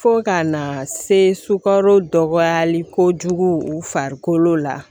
Fo ka na se sukaro dɔgɔyali kojugu u farikolo la